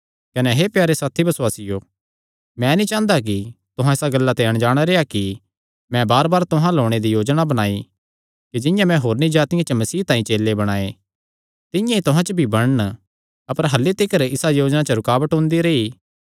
कने हे प्यारे साथी बसुआसियो मैं नीं चांह़दा कि तुहां इसा गल्ला ते अणजाण रेह्आ कि मैं बारबार तुहां अल्ल ओणे दी योजना बणाई कि जिंआं मैं होरनी जातिआं च मसीह तांई चेले बणाये तिंआं ई तुहां च भी बणन अपर अह्ल्ली तिकर इसा योजना च रुकावट ओंदी रेई